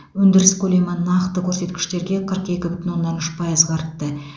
өндіріс көлемі нақты көрсеткіштерге қырық екі бүтін оннан үш пайызға артты